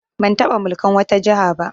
Ban taɓa mulkan wata jiha ba